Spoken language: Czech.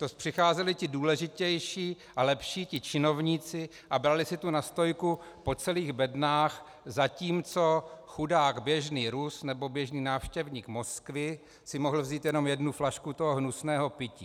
To přicházeli ti důležitější a lepší, ti činovníci, a brali si tu nastojku po celých bednách, zatímco chudák běžný Rus nebo běžný návštěvník Moskvy si mohl vzít jenom jednu flašku toho hnusného pití.